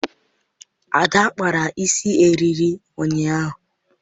Ada kpara isi eriri ụnyaahụ